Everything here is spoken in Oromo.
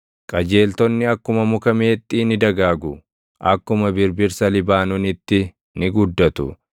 Qajeeltonni akkuma muka meexxii ni dagaagu; akkuma birbirsa Libaanoonitti ni guddatu;